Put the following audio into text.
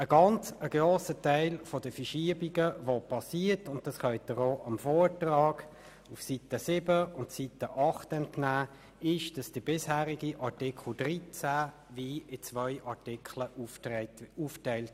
Dem Vortrag können Sie auf den Seiten 7 und 8 entnehmen, dass der bisherige Artikel 13 in zwei Artikel aufgeteilt wird.